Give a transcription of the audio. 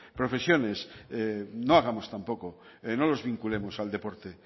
profesiones no hagamos tampoco no los vinculemos al deporte